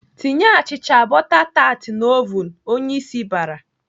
"Tinye achịcha bọta tat n'ovun!" Onyeisi bara.